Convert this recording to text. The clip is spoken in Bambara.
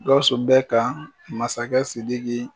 Gawusu bɛ ka masakɛ Sidiki